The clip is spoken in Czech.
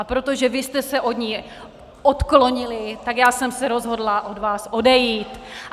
A protože vy jste se od ní odklonili, tak já jsem se rozhodla od vás odejít.